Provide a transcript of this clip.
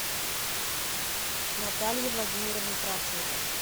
наталье владимировне кравченко